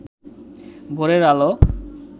ভোরের আলো